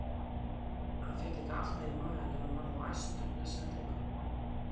Hann fékk líka alltaf í magann ef hann varð of æstur, blessaður drengurinn.